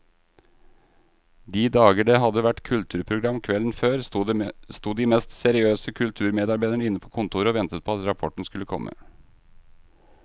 De dager det hadde vært kulturprogram kvelden før, sto de mest seriøse kulturmedarbeidere inne på kontoret og ventet på at rapporten skulle komme.